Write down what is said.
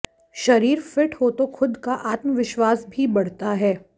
शरीर फिट हो तो खुद का आत्म विश्वास भी बढ़ता है